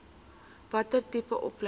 watter tipe opleiding